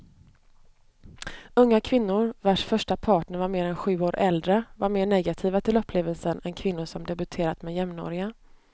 Unga kvinnor vars första partner var mer än sju år äldre var mer negativa till upplevelsen än kvinnor som debuterat med jämnåriga.